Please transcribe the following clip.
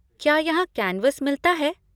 क्या यहाँ कैन्वस मिलता है?